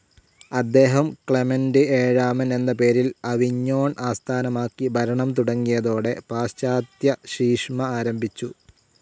അദ്ദേഹം ക്ലെമന്റ്‌ ഏഴാമൻ എന്ന പേരിൽ അവിഞ്ഞോൺ ആസ്ഥാനമാക്കി ഭരണം തുടങ്ങിയതോടെ പാശ്ചാത്യശീഷ്മ ആരംഭിച്ചു.